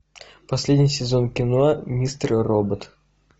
последний сезон кино мистер робот